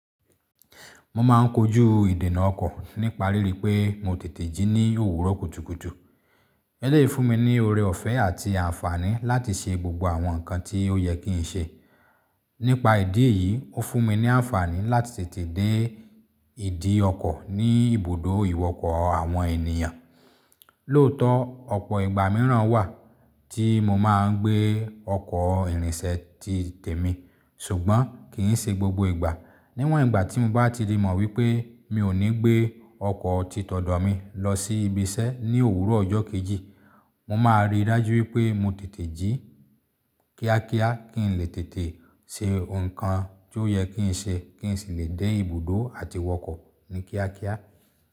Mo máà ń kojú ìdènà ọkọ̀ nípa ríiri pé mo tètè jí ní òwúrọ̀ kùtùkùtù. Eleyi fún mi ní ọrẹ ọ̀fẹ́ àti àǹfààní láti ṣe gbogbo àwọn nǹkan tí ó yẹ kí n ṣe. Nípa ìdí èyí, ó fún mi ní àǹfààní láti tètè dé ìdí ọkọ̀ ní ibùdó ìwọkọ̀ àwọn ènìyàn. Lóòótọ́, ọ̀pọ̀ ìgbà mìíràn wà tí mo máa ń gbé ọkọ̀ ìrìnsẹ̀ ti tèmi, ṣùgbọ́n kì í ṣe gbogbo ìgbà. Níwọ̀n ìgbà tí mo bá ti le mọ̀ wípé mi ò ní gbé ọkọ̀ titọ́dọ̀ mi lọ sí ibi iṣẹ́ ní òwúrọ̀ ọjọ́ kejì, mo máa ríi dájú wípé mo tètè jí kíákíá kí n lè tètè ṣe nǹkan tí ó yẹ kí n ṣe kí n sì lè dé ibùdó àti ìwọkọ̀ ní kíákíá.